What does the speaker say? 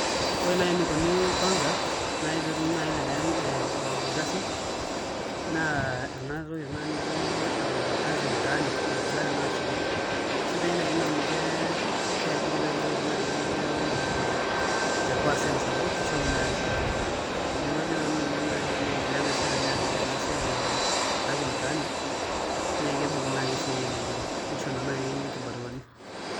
Ore nai enikunii [kwanza] nai pee etumi nai elelero nai elelero ee ee ilkasin naa enatoki tenakata nijo aa [kazi mtaani] naigilaki naa aashuku sidai nai Ina amu ke keajiri nai kiteru nai elelero nai te te [ percent] sapuk keishoru nai esiae neeku Ajo nanu ninye nai teneendelea nai serkali aapik enasiae [kazi mtaani]naa kiibung nai esiae elelero nisho nai inkinaruani .